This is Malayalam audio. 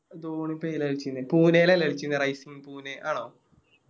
ധോണിപ്പോ ഏതിലാ കളിച്ചീന്നെ പുനെലല്ലേ കളിച്ചീന്നെ Rising pune ആണോ